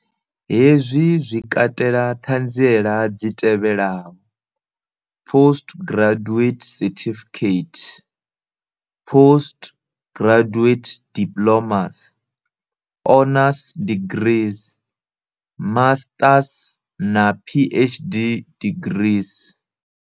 Hezwi zwi katela ṱhanziela dzi tevhelaho, postgraduate certificate, postgraduate diplomas, honours degrees, masters na PhD degrees.